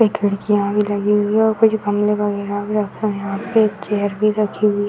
ये खिड़कियाँ भी लगी हुई है और कुछ गमले वगैरह भी रखे हैं यहाँ पे। एक चेयर भी रखी हुई --